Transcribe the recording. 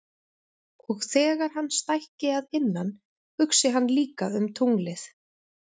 Og þegar hann stækki að innan hugsi hann líka um tunglið.